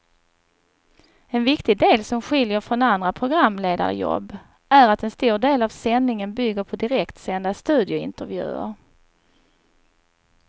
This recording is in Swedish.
En viktig del som skiljer från andra programledarjobb är att en stor del av sändningen bygger på direktsända studiointervjuer.